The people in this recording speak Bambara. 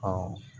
Ɔ